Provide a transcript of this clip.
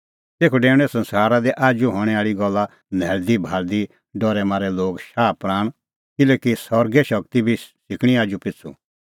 तेखअ डेऊणैं संसारा दी आजू हणैं आल़ी गल्ला न्हैल़दी भाल़दीभाल़दी डरै मारै लोगे शाहप्राण किल्हैकि सरगे सारी शगती बी सिकणीं आजूपिछ़ू